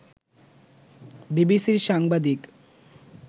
বিবিসির সাংবাদিক